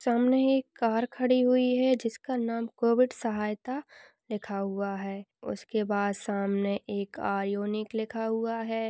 सामने एक कार खड़ी हुई है जिसका नाम कोविड सहायता लिखा हुआ है उसके पास सामने एक आयूनिक लिखा हुआ है।